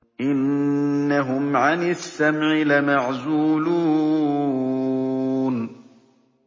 إِنَّهُمْ عَنِ السَّمْعِ لَمَعْزُولُونَ